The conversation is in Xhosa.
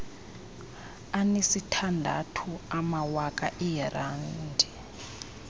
anesithandathu amawaka eerandi